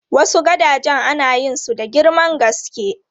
Wasu gadajen ana yin su da girman gaske.